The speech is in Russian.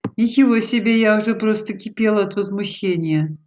ничего себе я уже просто кипела от возмущения